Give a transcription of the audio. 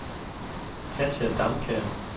Katja Damkjær